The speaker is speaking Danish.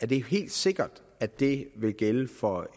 det helt sikkert at det vil gælde for